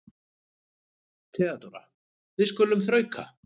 THEODÓRA: Við skulum þrauka.